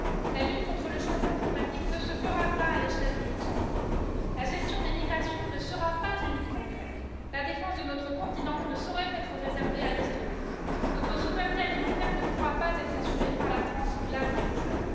La lutte contre le changement climatique ne se fera pas à l'échelle du Luxembourg, la gestion des migrations ne sera pas uniquement grecque, la défense de notre continent ne saurait être réservée à l'Estonie, notre souveraineté alimentaire ne pourra pas être assurée par la France ou l'Allemagne seule.